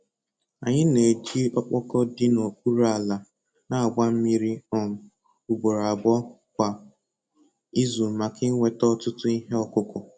Anyị na-eji ọkpọkọ dị n'okpuru ala na-agba mmiri um ugboro abụọ kwa izu maka inweta ọtụtụ ihe ọkụkụ.